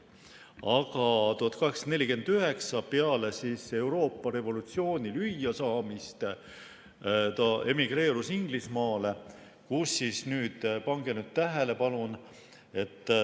Aga 1849, peale Euroopas revolutsioonis lüüasaamist emigreerus ta Inglismaale, kus – pange nüüd tähele, palun!